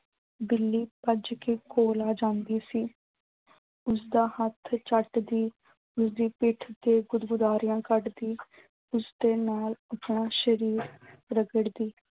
ਬਿੱਲੀ ਭੱਜ ਕੇ ਕੋਲ ਆ ਜਾਂਦੀ ਸੀ ਉਸਦਾ ਹੱਥ ਚੱਟਦੀ ਉਸਦੀ ਪਿੱਠ ਤੇ ਗੁਦਗੁਦਾਰੀਆਂ ਕੱਢਦੀ। ਉਸਦੇ ਨਾਲ ਆਪਣਾ ਸ਼ਰੀਰ ਰਗੜਦੀ।